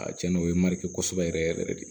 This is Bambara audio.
A cɛnna o ye mariyasɔ yɛrɛ yɛrɛ yɛrɛ de